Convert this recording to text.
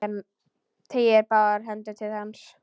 Teygir báðar hendur til hans.